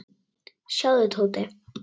Sjáðu, Tóti.